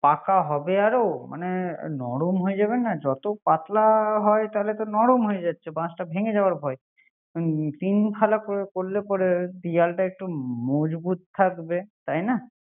পাকা হবে আরো মানে নরম হয়ে যাবে না। যত পাতলা হয় তত নরম হয়ে যাচ্ছে। বাশটা ভেগে যাওয়ার ভয়। তিন ফালা করলে পরে দেয়ালটা একটু মজবুত থাকবে